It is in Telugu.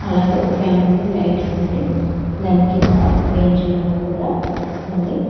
అలాగే ఒక ఫ్యాన్ ఉంది లైట్ ఉందండి దాని కింద ఒక బెంచి లాగా కూడా ఉంది.